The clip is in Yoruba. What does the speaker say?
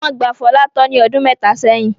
Wọ́n gba Fọlá tọ́ ní ọdún mẹ́ta sẹ́yìn.